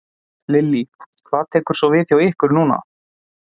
Lillý: Hvað tekur svo við hjá ykkur núna?